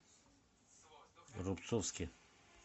рубцовске